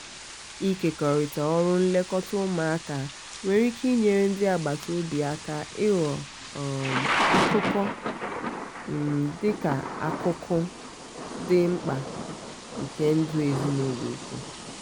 ịkekọrịta ọrụ nlekọta ụmụaka nwere ike inyere ndị agbata obi aka ịghọ um akụkụ um dị akụkụ um dị mkpa um nke ndụ ezinọlụ ùkwù.